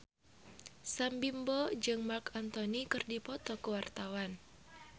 Sam Bimbo jeung Marc Anthony keur dipoto ku wartawan